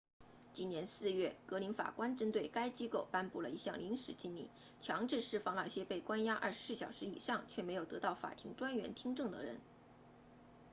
今年4月格林法官针对该机构颁布了一项临时禁令强制释放那些被关押24小时以上却没有得到法庭专员听证的人